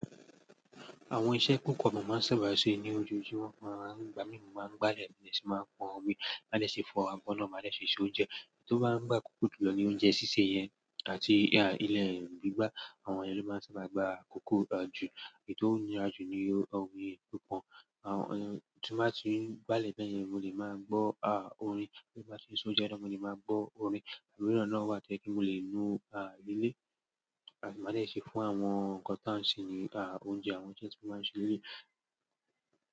Àwọn iṣẹ́ kókò bàbá máa ń sábà ṣe ní ojoojúmọ́, wọn máa ń gba mí mo, máa ń gbálẹ̀, bí ẹ ṣe máa ń pọn omi, máa lé ṣe fọ abọ́ náà, máa lé ṣe se oúnjẹ. Èyi tò bá ń gba kókó jùlọ ní oúnjẹ sísè yẹn àti ilẹ̀ gbígbá. Àwọn ẹlẹ́yi lọ máa ń sábà gba kókó jù. Ètò ń yára jù ní omi pi pọ̀n. Àwọn ẹni tó bá ti ń gbálẹ̀ bẹ́ẹ̀ yẹn, mo lè máa gbọ́ a orin. Tí mo bá ṣe se oúnjẹ náà, mo lè máa gbọ́ orin. Àwọn irú náà wà tí ẹ kí n lè nu a lé lé, àti máa lé ṣe fún àwọn nǹkan tí wọ́n ń ṣe ní a oúnjẹ, àwọn nnkan tí wọ́n máa ń ṣe nílé.